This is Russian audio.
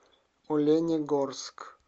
оленегорск